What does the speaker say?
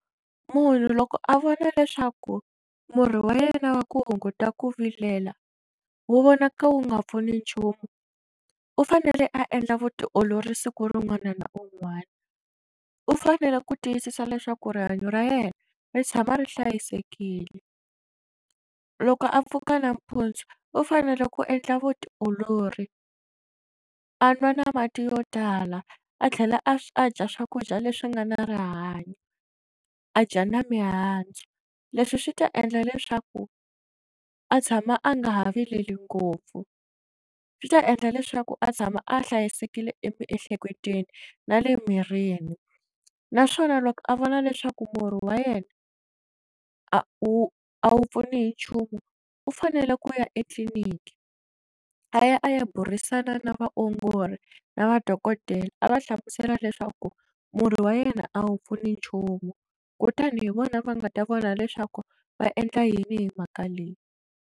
Munhu loko a vona leswaku murhi wa yena wa ku hunguta ku vilela wu vonaka wu nga pfuni nchumu u fanele a endla vutiolori siku rin'wana na un'wana u fanele ku tiyisisa leswaku rihanyo ra yena ri tshama ri hlayisekile loko a pfuka nampundzu u fanele ku endla vutiolori a nwa na mati yo tala a tlhela a dya swakudya leswi nga na rihanyo a dya na mihandzu leswi swi ta endla leswaku a tshama a nga ha vileli ngopfu swi ta endla leswaku a tshama a hlayisekile emiehleketweni na le mirini naswona loko a vona leswaku murhi wa yena a wu a wu pfuni hi nchumu u fanele ku ya etliliniki a ya a ya burisana na vaongori na madokodela a va hlamusela leswaku murhi wa yena a wu pfuni nchumu kutani hi vona va nga ta vona leswaku va endla yini hi mhaka leyi.